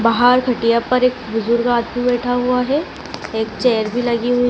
बाहर खटिया पर एक बुजुर्ग आदमी बैठा हुआ है एक चेयर भी लगी हुई--